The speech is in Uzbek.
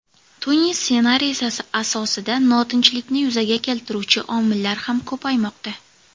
Tunis ssenariysi asosida notinchlikni yuzaga keltiruvchi omillar ham ko‘paymoqda.